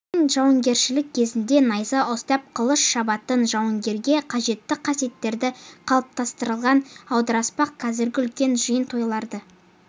ойын жаугершілік кезінде найза ұстап қылыш шабатын жауынгерге қажетті қасиеттерді қалыптастырған аударыспақ қазіргі үлкен жиын-тойларда